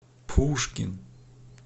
пушкин